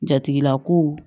Jatigila ko